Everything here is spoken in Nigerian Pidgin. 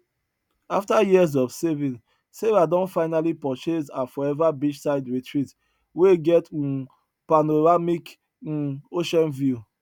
after years of saving sarah don finally purchase her forever beachside retreat wey get um panoramic um ocean view